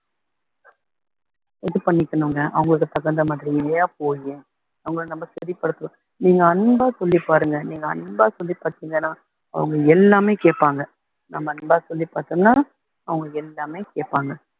இது பண்ணிக்கணும்ங்க அவங்களுக்கு தகுந்த மாதிரி போயி அவங்களை நம்ம சரிப்படுத்தலாம் நீங்க அன்பா சொல்லிப் பாருங்க நீங்க அன்பா சொல்லிப் பார்த்தீங்கன்னா அவங்க எல்லாமே கேப்பாங்க நம்ம அன்பா சொல்லிப் பார்த்தோம்ன்னா அவங்களுக்கு எல்லாமே கேப்பாங்க